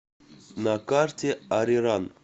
на карте ариран